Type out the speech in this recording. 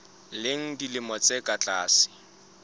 leng dilemo tse ka tlase